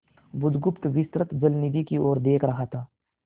बुधगुप्त विस्तृत जलनिधि की ओर देख रहा था